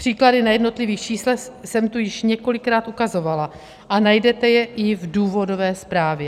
Příklady na jednotlivých číslech jsem tu již několikrát ukazovala a najdete je i v důvodové zprávě.